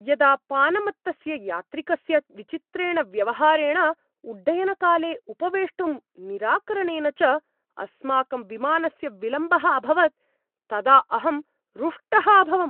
यदा पानमत्तस्य यात्रिकस्य विचित्रेण व्यवहारेण, उड्डयनकाले उपवेष्टुं निराकरणेन च अस्माकं विमानस्य विलम्बः अभवत् तदा अहं रुष्टः अभवम्।